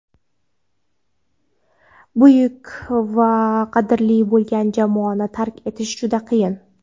buyuk va qadrli bo‘lgan jamoani tark etish juda qiyin.